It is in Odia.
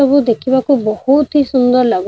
ସବୁ ଦେଖିବାକୁ ବହୁତୀ ସୁନ୍ଦର ଲାଗୁଛି।